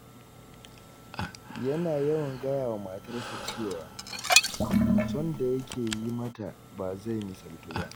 Yana yawan gaya wa matarsa cewa, son da yake yi mata ba zai misaltu ba.